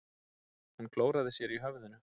Hún klóraði sér í höfðinu.